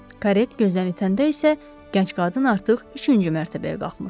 Karet gözdən itəndə isə gənc qadın artıq üçüncü mərtəbəyə qalxmışdı.